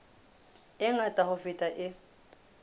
e ngata ho feta e